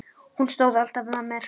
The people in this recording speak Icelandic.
Hún stóð alltaf með mér.